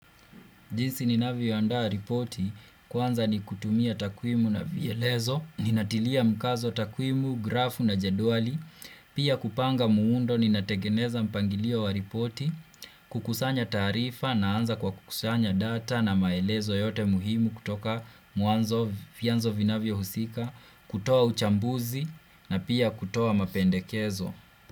Jinsi ninavyoandaa ripoti kwanza ni kutumia takwimu na vielezo, ninatilia mkazo takwimu, grafu na jedwali, pia kupanga muundo ninategeneza mpangilio wa ripoti, kukusanya taarifa naanza kwa kukusanya data na maelezo yote muhimu kutoka mwanzo vianzo vinavyohusika, kutoa uchambuzi na pia kutoa mapendekezo.